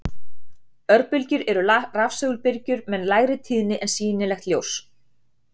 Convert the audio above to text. Örbylgjur eru rafsegulbylgjur með lægri tíðni en sýnilegt ljós.